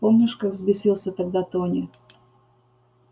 помнишь как взбесился тогда тони